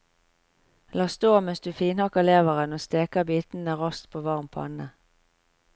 La stå mens du finhakker leveren og steker bitene raskt på varm panne.